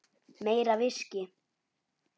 Meira viskí.